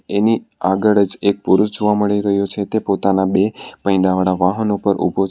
એની આગળ જ એક પુરુષ જોવા મળી રહ્યો છે તે પોતાના બે પૈંડાવાળા વાહન ઉપર ઉભો છે.